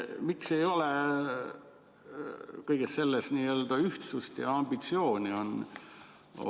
Miks ei ole kõiges selles ühtsust ja ambitsiooni?